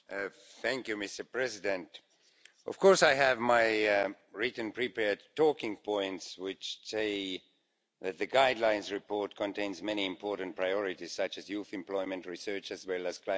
Mr President, of course I have my written prepared talking points which say that the Guidelines report contains many important priorities, such as youth employment, research, as well as climate spending.